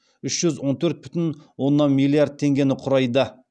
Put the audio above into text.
үш жүз он төрт бүтін оннан миллиард теңгені құрайды